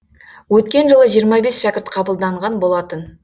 өткен жылы жиырма бес шәкірт қабылданған болатын